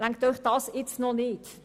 Reicht Ihnen dies noch nicht?